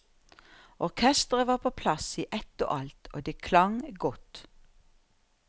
Orkestret var på plass i ett og alt, og det klang godt.